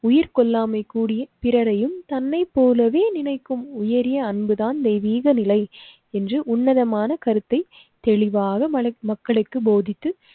உயிர் கொள்ளாமை கூடிய பிறரையும் தன்னைப் போலவே நினைக்கும் உயரிய அன்புதான் தெய்வீக நிலை என்று உன்னதமான கருத்தை தெளிவாக மக்களுக்கு போதித்து